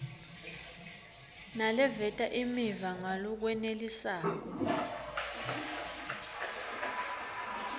naleveta imiva ngalokwenelisako